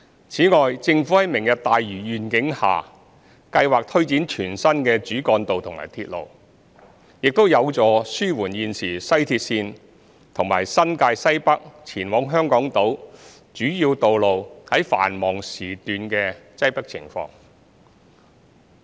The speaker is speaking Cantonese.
此外，政府在"明日大嶼願景"下計劃推展全新的主幹道及鐵路，亦有助紓緩現時西鐵綫和新界西北前往香港島主要道路繁忙時段的擠迫情況。